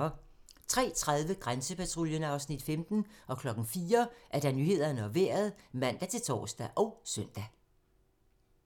03:30: Grænsepatruljen (Afs. 15) 04:00: Nyhederne og Vejret (man-tor og søn)